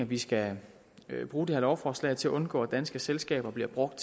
vi skal bruge det her lovforslag til at undgå at danske selskaber bliver brugt